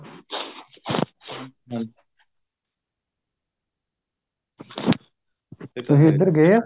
ਤੁਸੀਂ ਇੱਧਰ ਗਏ ਓ